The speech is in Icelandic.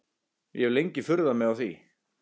Ég hef lengi furðað mig á því.